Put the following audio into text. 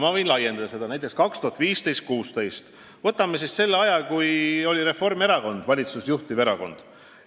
Ma võin seda laiendada näiteks 2015.–2016. aasta peale: võtame selle aja, kui Reformierakond oli valitsust juhtiv erakond.